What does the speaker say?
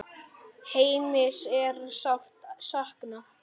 Heimis er sárt saknað.